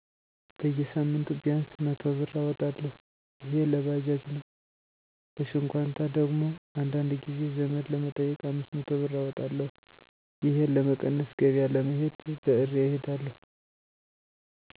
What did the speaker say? በጌሳምንቱ ቢያንስ 100ብር እወጣለሁ እሄ ለባጃጅ ነው ለሽኳንታ ደግሞ አንዳንድ ጊዜ ዘመድ ለመጠየቅ 500 ብር አወጣለሁ። እሄን ለመቀነስ ገበያ ለመሄድ በእሬ እሄዳለሁ።